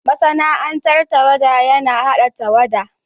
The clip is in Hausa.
Masana'antar tawada yana hada tawada.